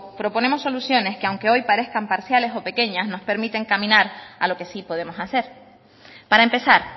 proponemos soluciones que aunque hoy parezcan parciales o pequeñas nos permiten caminar a lo que sí podemos hacer para empezar